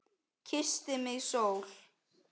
Kyssti mig sól.